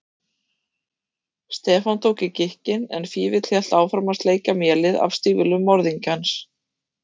Stefán tók í gikkinn en Fífill hélt áfram að sleikja mélið af stígvélum morðingjans.